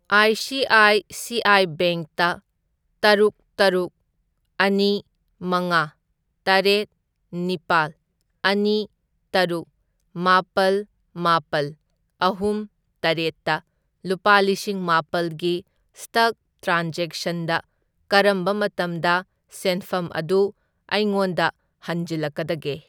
I C I C I ꯕꯦꯡꯛꯇ ꯇꯔꯨꯛ, ꯇꯔꯨꯛ, ꯑꯅꯤ, ꯃꯉꯥ, ꯇꯔꯦꯠ, ꯅꯤꯄꯥꯜ, ꯑꯅꯤ, ꯇꯔꯨꯛ, ꯃꯥꯄꯜ, ꯃꯥꯄꯜ, ꯑꯍꯨꯝ, ꯇꯔꯦꯠꯇ ꯂꯨꯄꯥ ꯂꯤꯁꯤꯡ ꯃꯥꯄꯜꯒꯤ ꯁ꯭ꯇꯛ ꯇ꯭ꯔꯥꯟꯖꯦꯛꯁꯟꯗ ꯀꯔꯝꯕ ꯃꯇꯝꯗ ꯁꯦꯟꯐꯝ ꯑꯗꯨ ꯑꯩꯉꯣꯟꯗ ꯍꯟꯖꯤꯜꯂꯛꯀꯗꯒꯦ ?